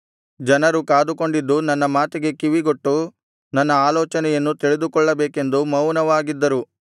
ಜನರು ಕಾದುಕೊಂಡಿದ್ದು ನನ್ನ ಮಾತಿಗೆ ಕಿವಿಗೊಟ್ಟು ನನ್ನ ಆಲೋಚನೆಯನ್ನು ತಿಳಿದುಕೊಳ್ಳಬೇಕೆಂದು ಮೌನವಾಗಿದ್ದರು